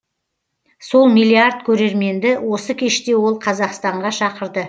сол миллиард көрерменді осы кеште ол қазақстанға шақырды